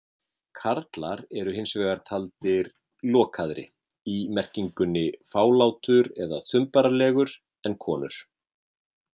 Karlar eru hins vegar taldir lokaðri- í merkingunni fálátur eða þumbaralegur- en konur.